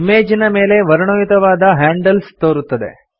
ಇಮೇಜಿನ ಮೇಲೆ ವರ್ಣಯುತವಾದ ಹ್ಯಾಂಡಲ್ಸ್ ತೋರುತ್ತದೆ